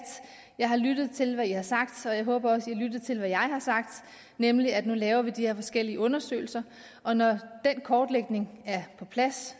jeg har lyttet til hvad i har sagt og jeg håber også at i har lyttet til hvad jeg har sagt nemlig at nu laver vi de her forskellige undersøgelser og når den kortlægning er på plads